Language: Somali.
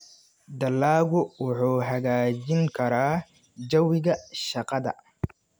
Dalaggu wuxuu hagaajin karaa jawiga shaqada.